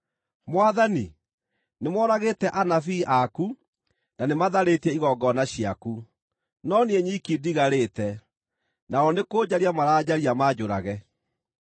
“Mwathani, nĩmoragĩte anabii aku na nĩmatharĩtie igongona ciaku; no niĩ nyiki ndigarĩte, nao nĩkũnjaria maranjaria manjũrage”?